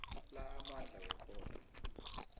la amandla wekhotho